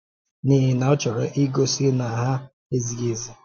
N’ihi na ọ chọrọ igosi na ha ezighi ezi.